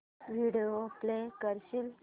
video play करशील